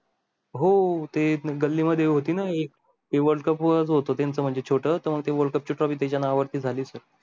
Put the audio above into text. हो ते गली मध्ये होती ना एक ते world cup वरच होता ते त्यांचं म्हणजे छोट तेव्हा ते world cup ची trophy त्याचा नावा वेळ जाली sir